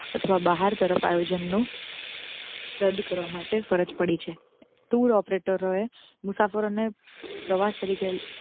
અથવા બહાર તરફ આયોજનો રદ કરવા માટે ફરજ પડી છે tour operator એ મુસાફરો ને પ્રવાસ તરીકે.